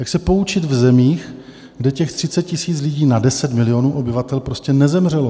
Jak se poučit v zemích, kde těch 30 000 lidí na 10 milionů obyvatel prostě nezemřelo?